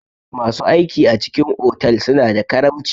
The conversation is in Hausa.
Masu aiki a cikin otal suna da karamci.